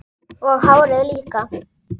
Og hárið líka!